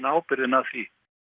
ábyrgðina af því